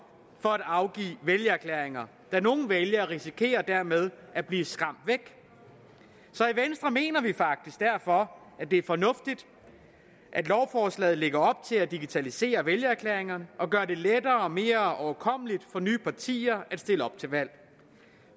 for at afgive vælgererklæringer nogle vælgere risikerer man dermed bliver skræmt væk så i venstre mener vi faktisk derfor at det er fornuftigt at lovforslaget lægger op til at digitalisere vælgererklæringerne og gøre det lettere og mere overkommeligt for nye partier at stille op til valg